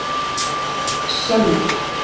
Sölvi